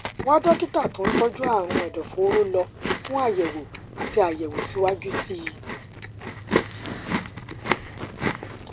wá dókítà tó ń tọjú àrùn ẹdọfóró lọ fún àyẹwò àti àyẹwò síwájú sí i